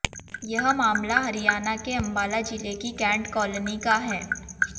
यह मामला हरियाणा के अंबाला जिले की कैंट कॉलोनी का है